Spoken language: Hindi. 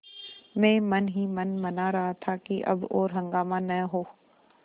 मैं मन ही मन मना रहा था कि अब और हंगामा न हो